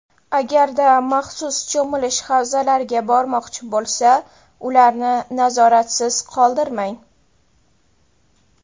Agarda maxsus cho‘milish havzalariga bormoqchi bo‘lsa, ularni nazoratsiz qoldirmang!